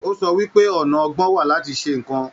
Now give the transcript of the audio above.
O sọ wípé ọna ọgbọ́n wà láti ṣe nnkan.